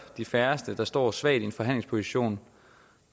de færreste der står svagt i en forhandlingsposition